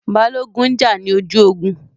Balógun n jà ní ojú ogun